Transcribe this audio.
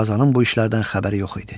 Qazanın bu işlərdən xəbəri yox idi.